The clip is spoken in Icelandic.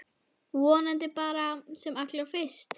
Vonandi bara sem allra fyrst.